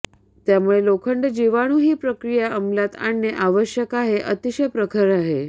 त्यामुळे लोखंड जीवाणू ही प्रक्रिया अमलात आणणे आवश्यक आहे अतिशय प्रखर आहे